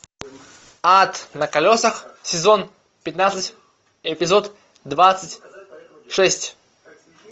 ад на колесах сезон пятнадцать эпизод двадцать шесть